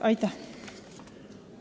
Aitäh!